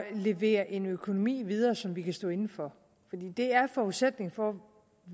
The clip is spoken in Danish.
levere en økonomi videre som vi kan stå inde for fordi det er forudsætningen for